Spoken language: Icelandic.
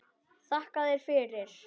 Þakka þér fyrir.